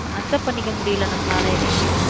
accept பண்ணிக்க முடியலை நம்மளால எதையுமே